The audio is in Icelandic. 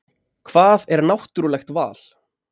Hvað er náttúrulegt val?